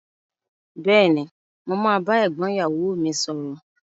Béèni, mo ma ba égbón ìyàwo mi sòrò